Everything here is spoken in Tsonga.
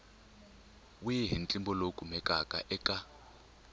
wihi ntlimbo lowu kumekaka eka